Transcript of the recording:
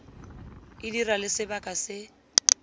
e dira le sebaka se